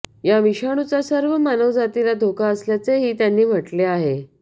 या विषाणूचा सर्व मानवजातीला धोका असल्याचेही त्यांनी म्हटले आहे